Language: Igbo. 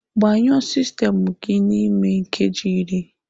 Gbanyụọ sistemụ gị n'ime nkeji iri!